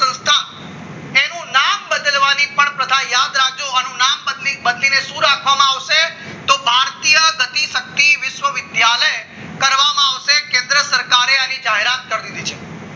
નામ બદલવાની પણ તથા યાદ રાખજો નામ બદલીને શું રાખવાનું આવશે તો ભારતીય ગતિ વિશ્વવિદ્યાલય કરવામાં આવશે કેન્દ્ર સરકારે આની જાહેરાત કરી દીધી છે